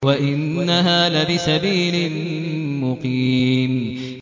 وَإِنَّهَا لَبِسَبِيلٍ مُّقِيمٍ